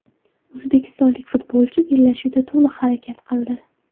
O‘zbekistonlik futbolchi bellashuvda to‘liq harakat qildi.